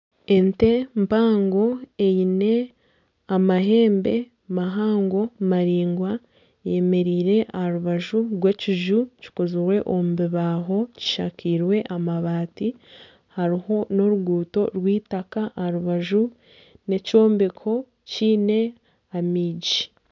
Ente mpango eine amahembe mahango maraingwa eyemereire aha rubaju rw'ekiju kikozirwe omu bibaaho kishakairwe amabaati. Hariho n'oruguuto rw'eitaka aha rubaju. N'ekyombeko kiine amaigi.